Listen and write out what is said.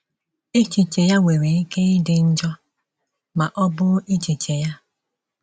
Echiche ya nwere ike ịdị njọ, ma ọ bụ echiche ya.